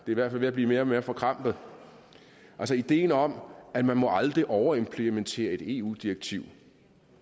i hvert fald ved at blive mere og mere forkrampet ideen om at man aldrig må overimplementere et eu direktiv